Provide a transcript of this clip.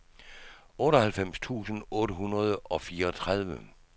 otteoghalvfems tusind otte hundrede og fireogtredive